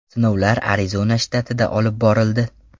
Sinovlar Arizona shtatida olib borildi.